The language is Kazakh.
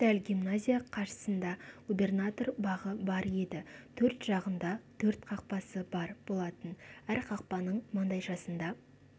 дәл гимназия қарсысында губернатор бағы бар еді төрт жағында төрт қақпасы бар болатын әр қақпаның маңдайшасында